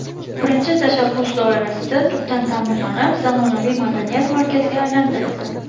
Birinchi tashabbus doirasida tubdan ta’mirlanib, zamonaviy madaniyat markaziga aylantirildi.